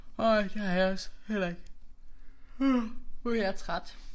Nej det var jeg også heller ikke. Nu er jeg træt